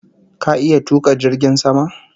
Ka iya tuka jirgin sama?